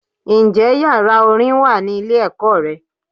Ǹ jé yàrá Orin wà ní ilé èkó re